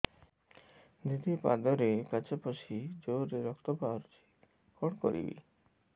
ଦିଦି ପାଦରେ କାଚ ପଶି ଜୋରରେ ରକ୍ତ ବାହାରୁଛି କଣ କରିଵି